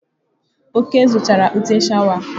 Oke zụtara ụtẹ́ sháwà.